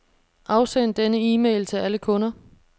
Afsend denne e-mail til alle kunder.